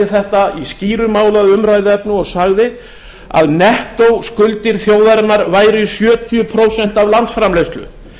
þetta í skýru máli að umræðuefni og sagði að nettó skuldir þjóðarinnar væru í sjötíu prósent af landsframleiðslu